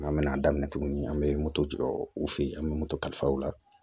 An bɛna daminɛ tuguni an bɛ moto jɔ u fɛ yen an bɛ moto kalifa u la